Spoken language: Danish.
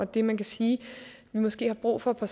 det man kan sige vi måske har brug for på